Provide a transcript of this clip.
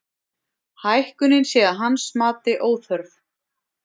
Hækkunin sé að hans mati óþörf